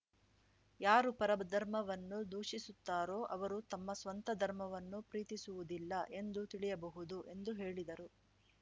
ಯಾರು ಪರಧರ್ಮವನ್ನು ದೂಷಿಸುತ್ತಾರೋ ಅವರು ತಮ್ಮ ಸ್ವಂತ ಧರ್ಮವನ್ನು ಪ್ರೀತಿಸುವುದಿಲ್ಲ ಎಂದು ತಿಳಿಯಬಹುದು ಎಂದು ಹೇಳಿದರು